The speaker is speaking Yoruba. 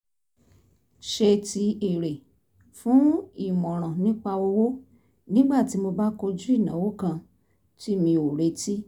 ṣe ti èrè fún ìmọ̀ràn nípa owó nígbà tí mo bá kojú ìnáwó kan tí mi ò retí